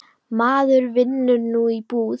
Maður vinnur nú í búð.